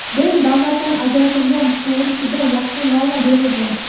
din davlatdan ajratilgani to‘g‘risida yaxshi norma berilgan.